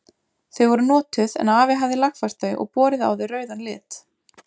Þau voru notuð en afi hafði lagfært þau og borið á þau rauðan lit.